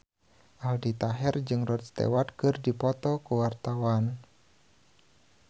Aldi Taher jeung Rod Stewart keur dipoto ku wartawan